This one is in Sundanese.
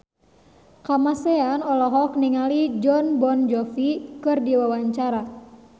Kamasean olohok ningali Jon Bon Jovi keur diwawancara